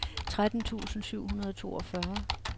tretten tusind syv hundrede og toogfyrre